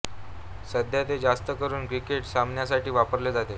सध्या ते जास्त करुन क्रिकेट सामन्यांसाठी वापरले जाते